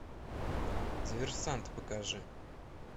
диверсант покажи